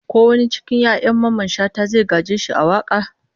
Ko wani cikin 'ya'yan Mamman Shata zai gaje shi a waka?